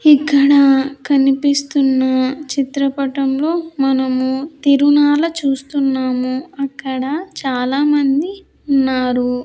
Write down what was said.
ఇక్కడా కనిపిస్తున్నా చిత్రపటంలో మనము తిరునాల చూస్తున్నాము అక్కడ చాలా మంది ఉన్నారు.